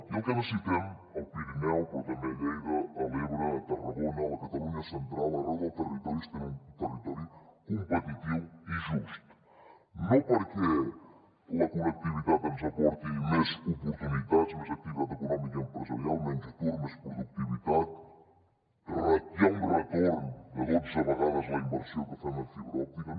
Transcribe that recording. i el que necessitem al pirineu però també a lleida a l’ebre a tarragona a la catalunya central arreu del territori és tenir un territori competitiu i just no perquè la connectivitat ens aporti més oportunitats més activitat econòmica i empresarial menys atur més productivitat ratllar un retorn de dotze vegades la inversió que fem en fibra òptica